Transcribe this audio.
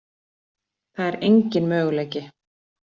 Það er engin möguleiki.